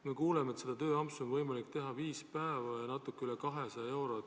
Me kuuleme, et tööampsu on võimalik teha viis päeva ja saada selle eest natuke üle 200 euro.